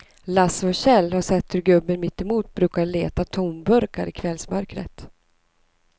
Lasse och Kjell har sett hur gubben mittemot brukar leta tomburkar i kvällsmörkret.